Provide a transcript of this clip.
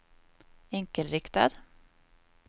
enkelriktad